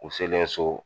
U selen so